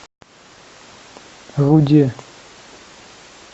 руде